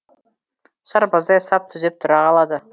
сарбаздай сап түзеп тұра қалады